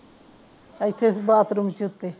ਇੱਥੇ ਬਾਥਰੂਮ ਸੀ ਉੱਤੇ